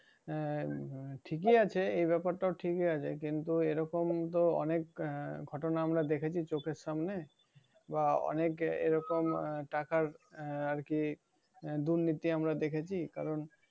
আহ ঠিকই আছে এ ব্যাপারটাও ঠিকই আছে। কিন্তু এরকম তো অনেক আহ ঘটনা আমরা দেখেছি চোখের সামনে। বা অনেক এরকম আহ টাকা র আরকি দুর্নীতি আমরা দেখেছি। কারণ,